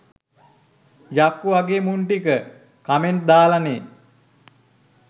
යක්කු වගෙ මුං ටික කමෙන්ට් දාලනෙ